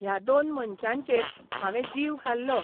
ह्या दोन मनशांचेर हावें जीव घाल्लो.